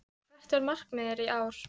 En hvert er markmiðið í ár?